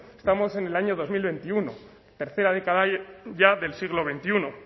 estamos en el año dos mil veintiuno tercera década ya del siglo veintiuno